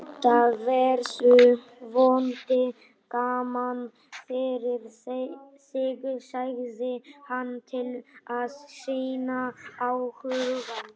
Þetta verður vonandi gaman fyrir þig, segir hann til að sýna áhuga.